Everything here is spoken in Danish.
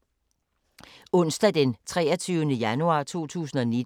Onsdag d. 23. januar 2019